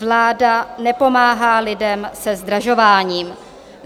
Vláda nepomáhá lidem se zdražováním.